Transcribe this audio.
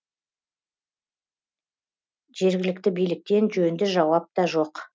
жергілікті биліктен жөнді жауап та жоқ